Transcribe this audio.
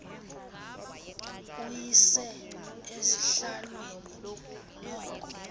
uyise esihlalweni noko